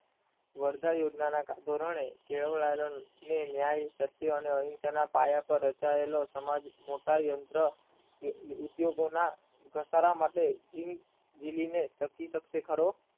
વરદાય યોજના ના ધોરણે કેળવ રાજા ને ન્યાય અને પતિ અને અહિંસાના પાયા પર રચાયેલો મોટા યંત્ર ઉદ્યોગોના ધબકારા માટે વિલીને સતી સકતે ફરો